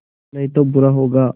नहीं तो बुरा होगा